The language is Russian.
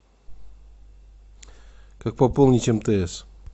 как пополнить мтс